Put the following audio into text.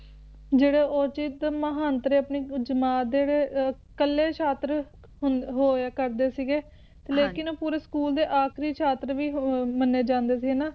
ਜਿਹੜੇ ਔਰਚਿਤ ਮਹਾਂਤਰੇ ਆਪਣੀ ਜਮਾਤ ਦੇ ਜਿਹੜੇ ਇਕੱਲੇ ਛਾਤਰ ਹੁੰਦ~ ਹੋਇਆ ਕਰਦੇ ਸੀਗੇ ਲੇਕਿਨ ਪੂਰੇ ਸਕੂਲ ਦੇ ਆਖਰੀ ਛਾਤਰ ਵੀ ਹੋ ਮੰਨੇ ਜਾਂਦੇ ਸੀ ਨਾ